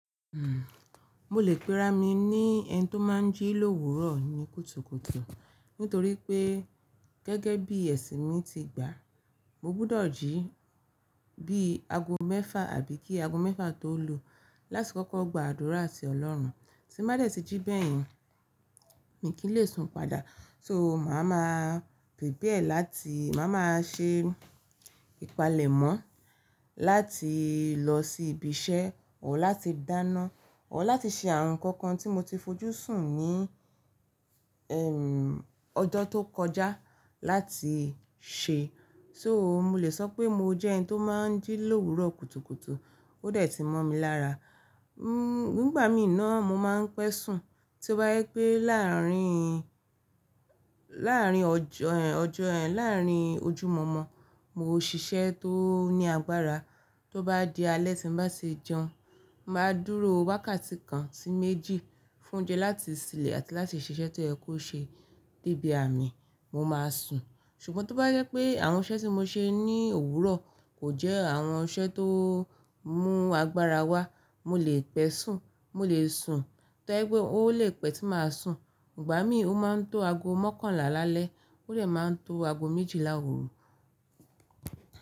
Hmm, mo lè péra mi ní ẹni tó máa n jí lówurọ̀ ní kùtùkùtù nítorí pé gẹ́gẹ́ bí ẹ̀sìn mi ti gbà, mo gbúdọ̀ jí bí ago mẹ́fà àbí kí ago mẹ́fà tó lu látì kókó gba àdúrà sí Ọlọ́run. Tí mo bá de ti jí bẹ́ẹ̀ yẹn, mi kì í lè sun padà. So, màá ma prepare láti màá má a ṣe ìpalẹ̀mọ́ láti lọ sí ibi iṣẹ́, or láti dáná, or láti ṣe àwon kankan tí mo ti fojú sùn ní ẹ́ mmm ọjọ́ tó kọjá láti ṣe. So mo lè sọ pé mo jẹ́ ẹni tó máa n jí lówurọ̀ kùtùkùtù, ó de tí mọ̀ mi lára. Nígbà mí náà mo máa n pẹ́ sùn. Tí ó bá jẹ pé láàrín, láàrín ọjọ ẹ́n, ọjọ ẹ́n, láàrín ojúmọ̀mọ̀, mo ò ṣiṣẹ́ tó ní agbára. Tó bá di alẹ́ tí n bá ti jẹun, màá dúró wákàtí kan sí méjì fún oúnjẹ láti ṣilẹ̀ àti láti ṣiṣẹ́ tó yẹ kó ṣe débi ààmi, mo máa sùn. Ṣùgbọ́n tí ó bá jẹ pé àwọn iṣẹ́ tí mo ṣe ní òwúrọ̀ kò jẹ́ àwọn iṣẹ́ tó mú agbára wá, mo lè pẹ́ sùn, mo lè sùn. Tí ó bá jẹ pé ó lè pẹ́ tí màá sùn. Ìgbà mí ó máa n tó ago mọ́kànlá lálẹ́, ó lè máa n tó ago méjìlá òru.